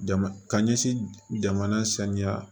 Jamana ka ɲɛsin jamana sanuya